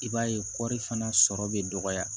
I b'a ye kɔri fana sɔrɔ bɛ dɔgɔya